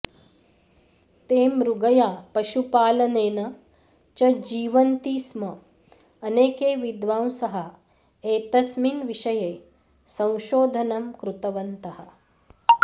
ते मृगया पशुपालनेन च जीवन्ति स्म अनेके विद्वांसः एतस्मिन् विषये संशोधनं कृतवन्तः